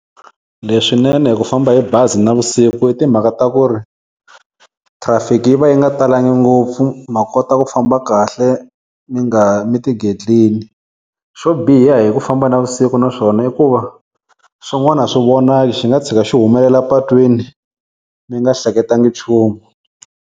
Leswinene hi ku famba hi bazi navusiku i timhaka ta ku ri, traffic-i yi va yi nga talanga ngopfu ma kota ku famba kahle mi nga mi tigetlini. Xo biha hi ku famba navusiku na swona i ku va swin'wana a swi vonaki swi nga tshika xi humelela patwini mi nga hleketangi chumu.